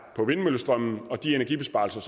på vindmøllestrøm og de energibesparelser